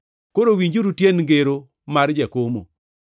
“Koro winjuru tiend ngero mar jakomo,